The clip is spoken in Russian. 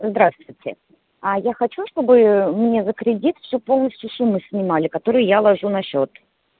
здравствуйте а я хочу чтобы ээ мне за кредит всю полностью сумму снимали которую я ложу на счёт